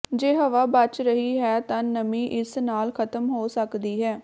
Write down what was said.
ਜੇ ਹਵਾ ਬਚ ਰਹੀ ਹੈ ਤਾਂ ਨਮੀ ਇਸ ਨਾਲ ਖਤਮ ਹੋ ਸਕਦੀ ਹੈ